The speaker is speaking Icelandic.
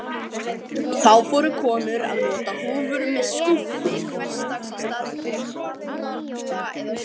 Þá fóru konur að nota húfur með skúfi hversdags í staðinn fyrir falda eða skaut.